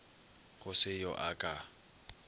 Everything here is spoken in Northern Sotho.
go se yo a ka